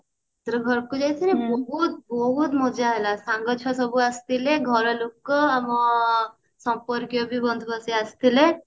ଏଥର ଘରକୁ ଯାଇଥିଲୁ ବହୁତ ବହୁତ ମଜା ହେଲା ସାଙ୍ଗ ଛୁଆ ସବୁ ଆସିଥିଲେ ଘର ଲୋକ ଆମ ସମ୍ପର୍କୀୟ ବନ୍ଧୁ ସିଏ ଆସିଥିଲେ